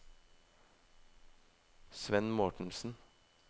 Svend Mortensen